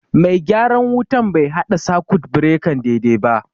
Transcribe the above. Mai gyaran wutan bai haɗa sakut birekan daidai ba